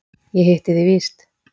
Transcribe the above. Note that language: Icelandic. Ég hitti þig víst!